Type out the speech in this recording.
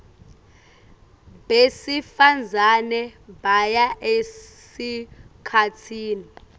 besifazane baya esikhatsini